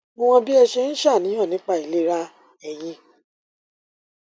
mo mọ bí ẹ ṣe ń ṣàníyàn nípa ìlera eyín